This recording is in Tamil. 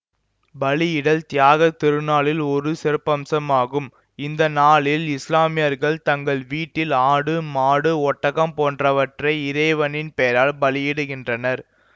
பலியிடல் தியாகத் திருநாளின் ஒரு சிறப்பம்சம் ஆகும் இந்த நாளில் இசுலாமியர்கள் தங்கள் வீட்டில் ஆடு மாடு ஒட்டகம் போன்றவற்றை இறைவனின் பெயரால் பலியிடுகின்றனர்